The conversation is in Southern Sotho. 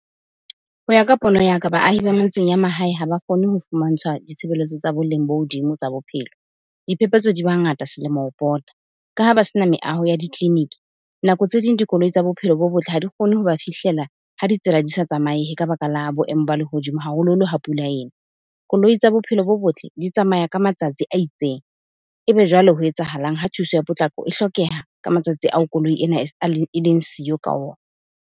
Ho ya ka pono ya ka, baahi ba metseng ya mahae ha ba kgone ho fumantshwa ditshebeletso tsa boleng bo hodimo tsa bophelo. Diphephetso di ba ngata selemo ho pota. Ka ha ba sena meaho ya ditleliniki, nako tse ding dikoloi tsa bophelo bo botle ha di kgone ho ba fihlela ha ditsela di sa tsamaehe ka baka la boemo ba lehodimo haholoholo ha pula ena. Koloi tsa bophelo bo botle di tsamaya ka matsatsi a itseng, ebe jwale ho etsahalang ha thuso ya potlako e hlokeha ka matsatsi ao koloi ena eleng siyo ka ona.